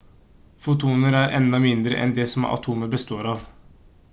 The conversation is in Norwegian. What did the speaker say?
fotoner er enda mindre enn det som atomer består av